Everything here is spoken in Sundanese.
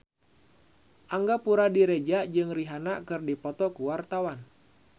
Angga Puradiredja jeung Rihanna keur dipoto ku wartawan